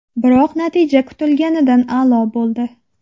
Biroq natija kutilganidan a’lo bo‘ldi.